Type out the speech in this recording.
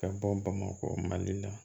Ka bɔ bamakɔ mali la